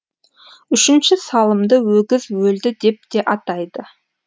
үшінші салымды өгіз өлді деп те атайды